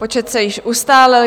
Počet se již ustálil.